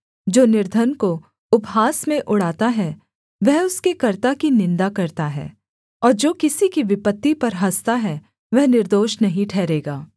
जो निर्धन को उपहास में उड़ाता है वह उसके कर्त्ता की निन्दा करता है और जो किसी की विपत्ति पर हँसता है वह निर्दोष नहीं ठहरेगा